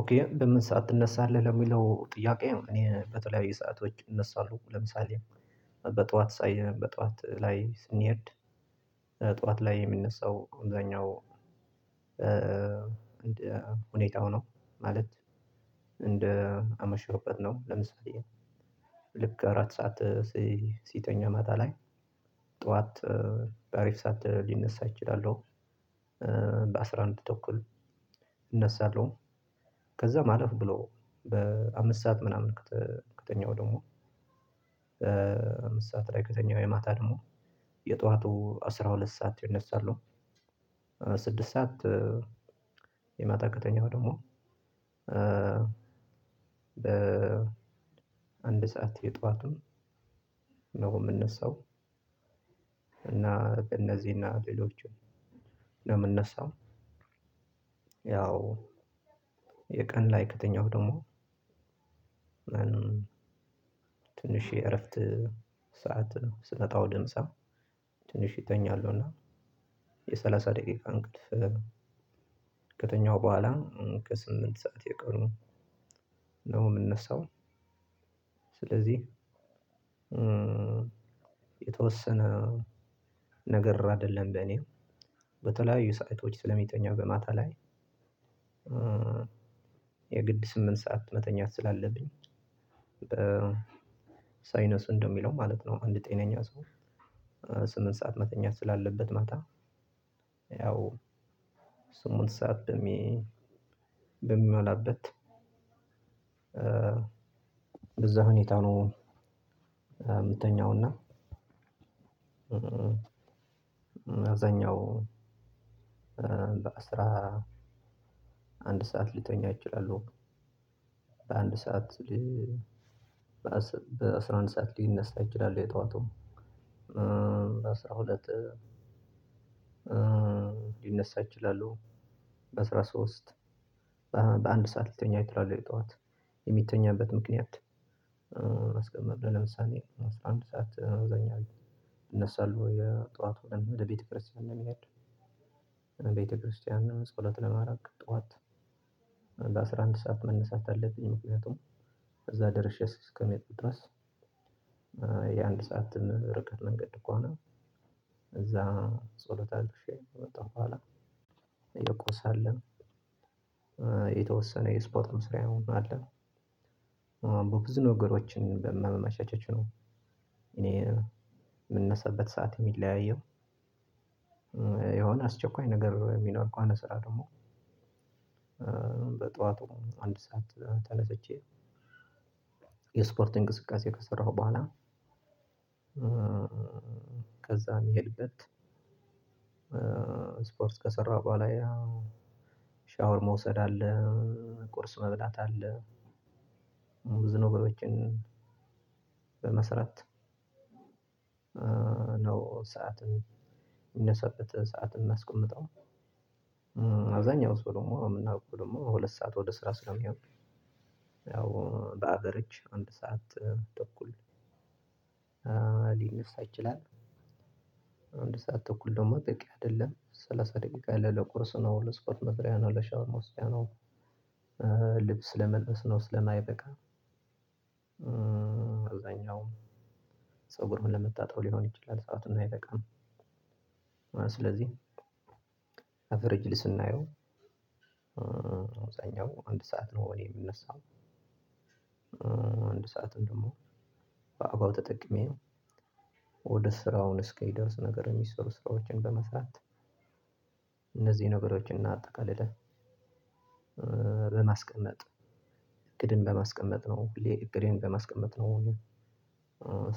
ኦኬ በምን ሰዓት ትነሳለህ ለሚለው ጥያቄ? እኔ በተለያዩ ሰአቶች እነሳለሁ ለምሳሌ እህ በጠዋት ፀሀይ በጠዋት ላይ ስንሄድ ጠዋት ላይ የሚነሳው አብዛኛው እንደ ሁኔታው ነው። ማለት እንደ አመሸሁበት ነው። ለምሳሌ ልክ አራት ሰዓት ሲተኛ ማታ ላይ ጠዋት በአሪፍ ሰዓት ሊነሳ እችላለው። በአስራ አንድ ተኩል እነሳለሁ። ከዛ አለፍ ብሎ በአምስት ሰዓት ምናምን ከተኛው ደግሞ አምስት ሰዓት ላይ ከተኛው የማታ ደግሞ የጧቱ አስራ ሁለት ሰዓት ይነሳሉ። ስድስት ሰዓት የማታ ከተኛው ደግሞ እህ እህ አንድ ሰዓት የጠዋቱን ነው የምነሳው። እና በእነዚህና ሌሎችም ነው የምነሳው። ያው የቀን ላይ ክተኛው ደግሞ ትንሽ የእረፍት ሰዓት ስመጣ ወደምሳ ትንሽ እተኛለሁና የሰላሳ ደቂቃ እንቅልፍ ከተኛሁ በኋላ ከስምንት ሰዓት የቀኑ ነው የምነሳው። ስለዚህ የተወሰነ ነገር አይደለም ለኔ በተለያዩ ሳአቶች ስለሚተኛ በማታ ላይ። የግድ ስምንት ሰዓት መተኛት ስላለብኝ በሳይንስ እንደሚለው ማለት ነው። አንድ ጤነኛ ሰው ስምንት ሰዓት መተኛት ስላለበት ማታ። ያው ስምትን ሰዓት በሜ በሚሞላበት እዛ ሁኔታ ነው የምተኛው። እና ምተኛው በአስራ አንድ ሰዓት ልተኛ እችላለው። በአንድ ሰዓት በአስራ አንድ ሰዓት ሊነሳ ይችላል። የጧቱ አስራ ሁለት ሊነሳ እችላለው። በስራ ሶስት በአንድ ሰዓት ልተኛ እችላለው የጠዋት የሚተኛበት ምክንያት። ለምሳሌ አስራ አንድ ሰዓት አብዛኛው እነሳለው የጧቱ ቀን ወደ ቤተክርስቲያን ለመሄድ ቤተክርስቲያን ነው ጸሎት ለማረግ ጧት በአስራ አንድ ሰዓት መነሳት አለብኝ። ምክንያቱም እዛ ደርሼ እስከመጡ ድረስ የአንድ ሰዓት ርቀት መንገድ ከሆነ። እዛ ጸሎት አድርሼ ከመጣው በኋላ የቆሰ አለ የተወሰነ የስፖርት መስሪያውን አለ በብዙ ነገሮችን በመመሻቸች ነው። እኔ የምነሳበት ሰዓት የሚለያየው። የሆነ አስቸኳይ ነገር የሚኖር እኮ አለ። ስራ ደግሞ በጧቱ አንድ ሰዓት ተነስቼ የስፖርት እንቅስቃሴ ከሰራሁ በኋላ። ከዛ ምሄድበት ስፖርት ከሰራ በኋላ ያው ሻወር መውሰድ አለ። ቁርስ መብላት አለ። ሙዝ ነገሮችን በመስራት ነው። ሰዓት የምንሳበትን ሰዓትን ማስቀምጠው አብዛኛው ሰው ደግሞ የምናውቀው ደግሞ ሁለት ሰዓት ወደ ስራ ስለሚሆን ያው በአገር እጅ አንድ ሰዓት ተኩል ሊነሳ ይችላል። አንድ ሰዓት ተኩል ደግሞ ጠቂ አይደለም ሰላሳ ደቂቃ ለቁርስ ነው ለስኮት መስሪያ ነው ለሻውር መዉሰጃ ነው። ልብስ ለመልበስ ነው ስለማይበቃ አብዛኛው ፀጉሩን ለመታጠብ ሊሆን ይችላል ሰዓትም አይበቃም። ስለዚህ አቨርጅሊ ስናየው አብዛኛው አንድ ሰዓት ነው። እኔ የምነሳው። አንድ ሰዓት ደግሞ በአጋው ተጠቅሜ ወደ ስራውን እስኪደርስ ነገር የሚሰሩ ስራዎችን በመስራት እነዚህ ነገሮችን እናጠቃልለ። በማስቀመጥ እቅድን በማስቀመጥ ነው ሁሌ እቅዴን በማስቀመጥ ነው።